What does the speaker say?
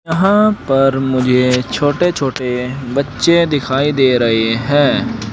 यहां पर मुझे छोटे छोटे बच्चे दिखाई दे रहे हैं।